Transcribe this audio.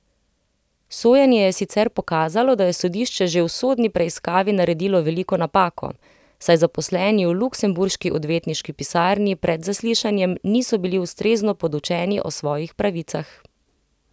Sojenje je sicer pokazalo, da je sodišče že v sodni preiskavi naredilo veliko napako, saj zaposleni v luksemburški odvetniški pisarni pred zaslišanjem niso bili ustrezno podučeni o svojih pravicah.